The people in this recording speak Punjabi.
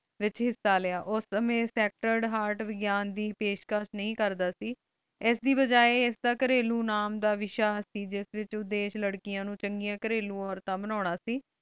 ਵਿਚ ਹਿਸਾ ਲਿਯਾ ਓਹਨੀ ਸਚ੍ਤੇਰਡ ਹੇਆਰਟ ਵਿਗ੍ਯਾਂ ਦੇ ਪੇਸ਼ਕਸ਼ ਨਹੀ ਕਰਦਾ ਸੇ ਇਸ ਦੇ ਵਾਜਾ ਇਸ ਦਾ ਘਰੇਲੋ ਨਾਮ ਦਾ ਵਿਸ਼ਾ ਸੇ ਜਿਸ ਵਿਚ ਓਹ ਦੇਸ਼ ਲਾਰ੍ਕਿਯਾਂ ਨੂ ਚੰਗਿਯਾ ਘਰੇਲੋ ਔਰਤਾਂ ਬਨਾਨਾ ਸੇ